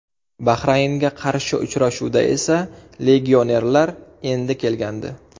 Bahraynga qarshi uchrashuvda esa legionerlar endi kelgandi.